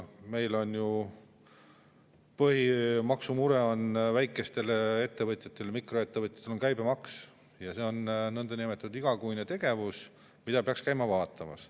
Meil on ju põhiline maksumure väikestel ettevõtjatel, mikroettevõtjatel käibemaks ja see on niinimetatud igakuine tegevus, mida peaks käima vaatamas.